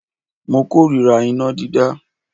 Mo kórira iná dídá.